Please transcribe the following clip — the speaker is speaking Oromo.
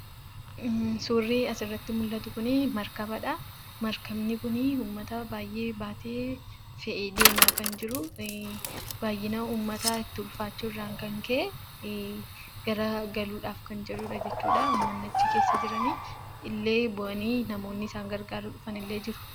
Suurri asirratti mul'atu kuni Maarkabadha. Maarkabni kuni uummata baayyee baatee, fe'ee deemaa kan jiru, baayyina uummataa itti ulfaachuurran kan ka'e, garagaruudhaaf kan jirudha jechuudha jechuudha. Uummanni achi keessa jiran illee bu'anii namoonni isaan gargaaruudhaaf dhufanillee jiru.